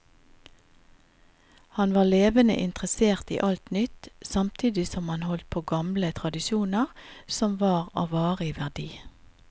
Han var levende interessert i alt nytt, samtidig som han holdt på gamle tradisjoner som var av varig verdi.